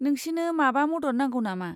नोंसिनो माबा मदद नांगौ नामा?